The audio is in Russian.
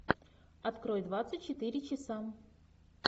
открой двадцать четыре часа